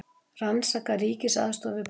Rannsaka ríkisaðstoð við bankana